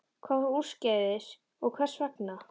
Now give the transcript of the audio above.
Hvað fór úrskeiðis og hvers vegna?